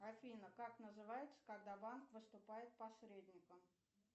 афина как называется когда банк выступает посредником